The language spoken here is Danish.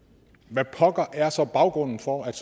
hvad pokker er så baggrunden for at